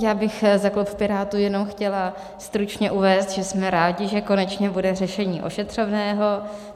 Já bych za klub Pirátů jenom chtěla stručně uvést, že jsme rádi, že konečně bude řešení ošetřovného.